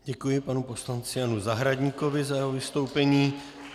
Děkuji panu poslanci Janu Zahradníkovi za jeho vystoupení.